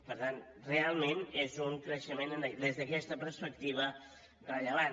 per tant realment és un creixement des d’aquesta perspectiva rellevant